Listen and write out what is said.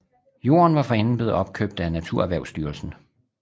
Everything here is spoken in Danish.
Jorden var forinden blevet opkøbt af NaturErhvervstyrelsen